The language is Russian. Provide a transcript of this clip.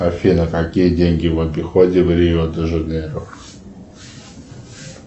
афина какие деньги в обиходе в рио де жанейро